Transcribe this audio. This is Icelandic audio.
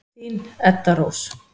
Þín, Edda Rós.